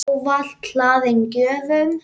Ávalt hlaðin gjöfum.